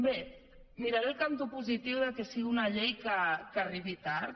bé miraré el cantó positiu del fet que sigui una llei que arribi tard